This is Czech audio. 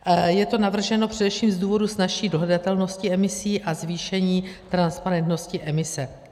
Je to navrženo především z důvodu snazší dohledatelnosti emisí a zvýšení transparentnosti emise.